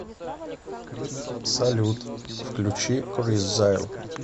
салют включи крис зайл